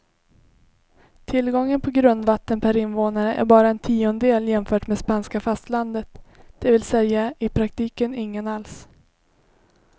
Tillgången på grundvatten per invånare är bara en tiondel jämfört med spanska fastlandet, det vill säga i praktiken ingen alls.